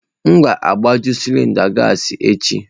M ga-agbaju cilinda gassi echi.